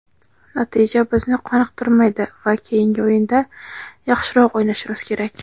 natija bizni qoniqtirmaydi va keyingi o‘yinda yaxshiroq o‘ynashimiz kerak.